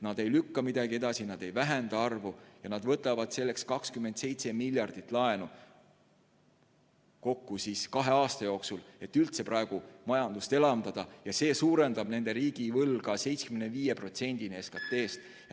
Nad ei lükka midagi edasi, nad ei vähenda ja nad võtavad selleks 27 miljardit laenu kahe aasta jooksul, et majandust elavdada ja see suurendab nende riigivõlga 75%-ni SKT-st.